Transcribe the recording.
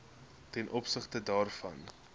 ten opsigte daarvan